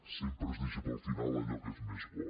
sempre es deixa per al final allò que és més bo